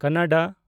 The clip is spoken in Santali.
ᱠᱟᱱᱱᱲᱟ